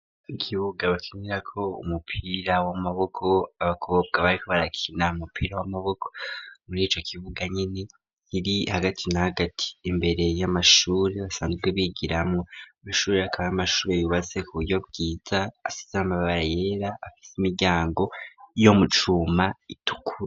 Ikibuga bakinira ko umupira w'amaboko abakobwa bari ko barakina umupira w'amaboko murico kibuga nyine kiri hagati na hagati imbere y'amashure basanzwe bigira mwo ayo akaba ari amashure yubatse kuburyo bwiza asize amabara yera afise imiryango yo mucuma itukuru.